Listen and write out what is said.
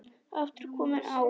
aftur komið á.